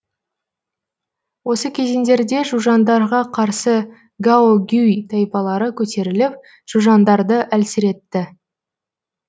осы кезеңдерде жужандарға қарсы гаогюй тайпалары көтеріліп жужандарды әлсіретті